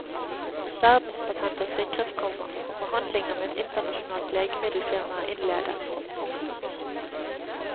Verdenspatent er sikret, komma og forhandlinger med et internasjonalt legemiddelfirma er innledet. punktum